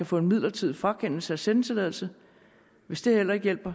få en midlertidig frakendelse af sendetilladelsen hvis det heller ikke hjælper